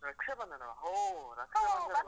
ರಕ್ಷಾಬಂಧನವಾ? ಹೋ~ ರಕ್ಷಾಬಂಧನ .